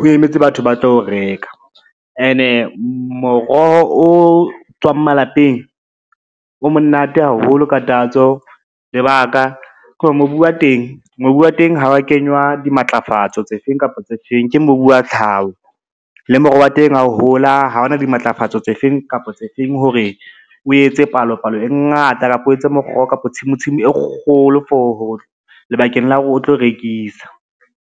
o emetse batho ba tlo reka. Ene moroho o tswang malapeng o monate haholo ka tatso, lebaka ke hore mobu wa teng ha wa kenywa dimatlafatso tse feng kapa tse feng, ke mobu wa tlhaho le moroho wa teng hao hola ha hona dimatlafatso tse feng kapa tse feng hore o etse palo palo e ngata, kapa o etse kapa tshimo e kgolo lebakeng la hore o tlo rekisa.